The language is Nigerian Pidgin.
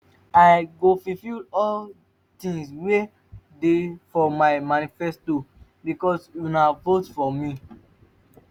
i go fulfill all the things wey dey for my manifesto because una vote for me